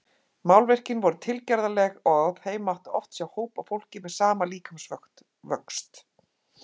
Málverkin voru tilgerðarleg og á þeim mátti oft sjá hóp af fólki með sama líkamsvöxt.